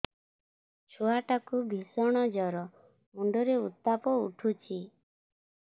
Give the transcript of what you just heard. ଛୁଆ ଟା କୁ ଭିଷଣ ଜର ମୁଣ୍ଡ ରେ ଉତ୍ତାପ ଉଠୁଛି